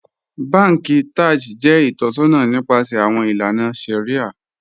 Bànkì Taj jẹ itọ̀ṣọna nipasẹ̀ awọn ilànà shàríà.